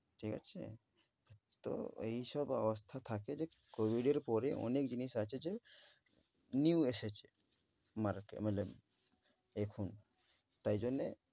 ঠিক আছে? তো ঐ সব অবস্থা থাকে যে COVID এর পরে অনেক জিনিস আছে যে new এসেছে মারাতে মাতলাব এখন। তাই জন্যে